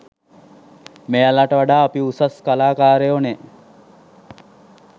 මෙයාලට වඩා අපි උසස් කලාකාරයො නේ.